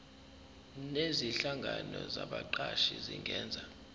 nezinhlangano zabaqashi zingenza